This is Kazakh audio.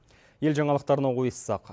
ел жаңалықтарына ойыссақ